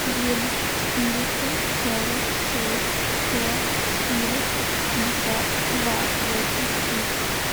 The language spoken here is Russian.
девять четыреста сорок шесть сто четыре шестьдесят два восемь три